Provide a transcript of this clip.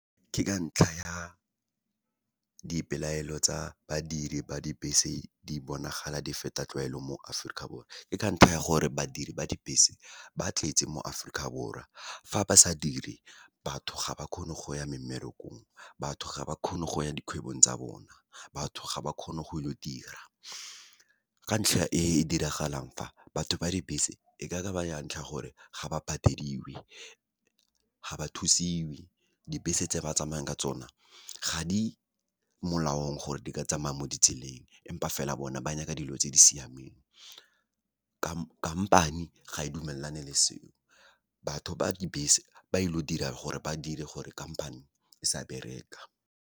Ke ka ntlha ya dipelaelo tsa badiri ba dibese, di bonagala di feta tlwaelo mo Aforika Borwa. Ke ka ntlha ya gore, badiri ba dibese ba tletse mo Aforika Borwa, fa ba sa dire, batho ga ba kgone go ya memmerekong, batho ga ba kgone go ya dikgwebong tsa bona, batho ga ba kgone go ilo dira. Ka ntlha e diragalang fa, batho ba dibese e ka ba ya ntlha gore, ga ba patediwe, ga ba thusiwe, dibese tse ba tsamayang ka tsona ga di molaong, gore di ka tsamaya mo ditseleng empa fela bone ba nyaka dilo tse di siameng. Khamphane ga e dumelane le seo, batho ba dibese ba ile go dira gore, ba dire gore kampane e sa bereka.